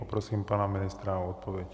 Poprosím pana ministra o odpověď.